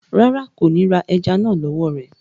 Rárá, kò ni rá èẹjẹ́ náà lọ wọ̀ rẹ.